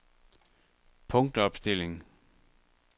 punktopstilling